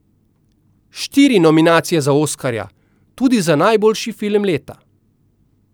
Štiri nominacije za oskarja, tudi za najboljši film leta.